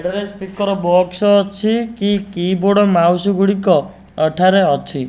ଏଥେରେ speaker box ଅଛି କି keyboard mouse ଗୁଡିକ ଏଠାରେ ଆଛି।